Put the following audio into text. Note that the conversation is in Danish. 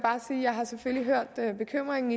selvfølgelig har hørt bekymringen